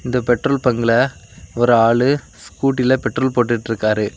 இந்த பெட்ரோல் பங்குல ஒரு ஆளு ஸ்கூட்டில பெட்ரோல் போட்டுட்டுருக்காரு.